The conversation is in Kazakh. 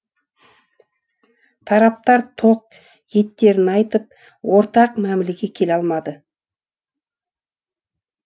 тараптар тоқ етерін айтып ортақ мәмілеге келе алмады